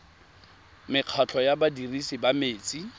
mekgatlho ya badirisi ba metsi